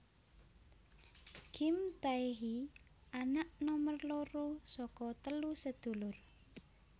Kim Tae hee anak nomor loro saka telu sedulur